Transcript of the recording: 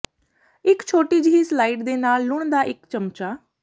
ਇਕ ਛੋਟੀ ਜਿਹੀ ਸਲਾਇਡ ਦੇ ਨਾਲ ਲੂਣ ਦਾ ਇੱਕ ਚਮਚਾ